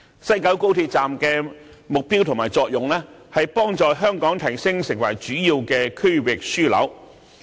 西九站的目標和作用是幫助提升香港成為主要區域樞紐。